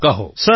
Shri Hari જી